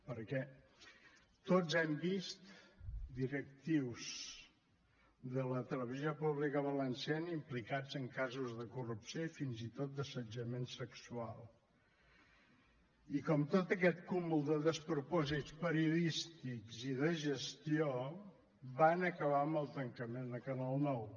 perquè tots hem vist directius de la televisió pública valenciana implicats en casos de corrupció i fins i tot d’assetjament sexual i com tot aquest cúmul de despropòsits periodístics i de gestió van acabar amb el tancament de canal nou